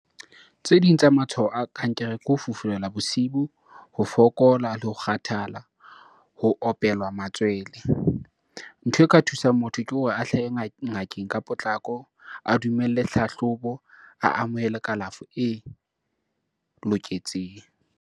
Tse ding tsa matshwao a kankere ke ho fufulelwa bosibu, ho fokola le ho kgathala, ho opelwa matswele. Ntho e ka thusang motho ke hore a hlahe ngakeng ka potlako, a dumelle hlahlobo, a amohele kalafo e loketseng.